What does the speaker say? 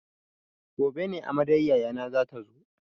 Gobe ne amaryar yayana zata zo.